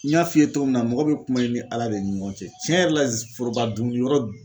N y'a f'i ye cogo min na, mɔgɔ bɛ kuma i ni Ala de ni ɲɔgɔn cɛ tiɲɛ yɛrɛ la foroba dumuni yɔrɔ